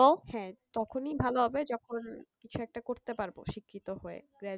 হ্যাঁ তখনই ভালো হবে যখন কিছু একটা করতে পারবো শিক্ষিত হয়ে graduate